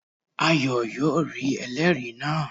Ayo yóò rí ẹlẹ́ẹ̀rí náà